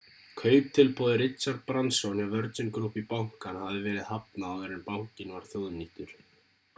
kauptilboði richard branson hjá virgin group í bankann hafði verið hafnað áður en bankinn var þjóðnýttur